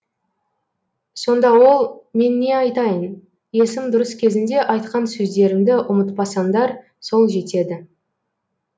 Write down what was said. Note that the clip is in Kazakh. сонда ол мен не айтайын есім дұрыс кезінде айтқан сөздерімді ұмытпасаңдар сол жетеді